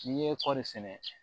N'i ye kɔri sɛnɛ